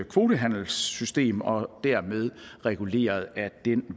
kvotehandelssystem og dermed er det reguleret ad den